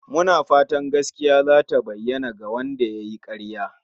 Muna fatan gaskiya zata bayyana" ga Wanda yayi karya